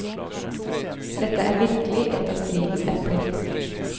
Dette er virkelig et av stridens epler.